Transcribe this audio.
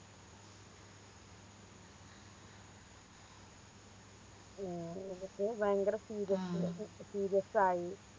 ആ എന്നിട്ട് ഭയങ്കര serious Serious ആയി